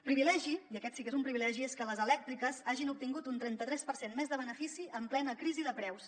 privilegi i aquest sí que és un privilegi és que les elèctriques hagin obtingut un trenta tres per cent més de benefici en plena crisi de preus